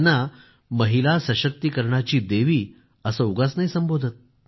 त्यांना महिला सशक्तीकरणाची देवी असं उगाच नाही संबोधल्या जात